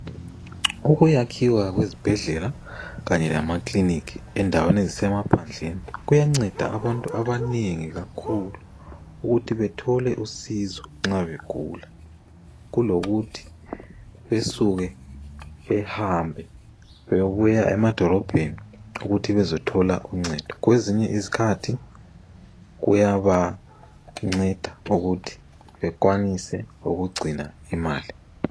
Ukuyakhiwa kwezibhendlela kanye lamakilinika endaweni esisemaphandleni kuyanceda abantu abanengi kakhulu ukuthi bethole usizo nxa begula kulokuthi basuke bahambele bebuya emadolobheni ukuthi bezothole uncedo kwezinye iskhathi kuyabanceda ukuthi bakwanise ukugcina imali.